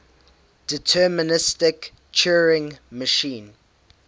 deterministic turing machine